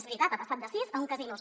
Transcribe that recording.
és veritat ha passat de sis a un casino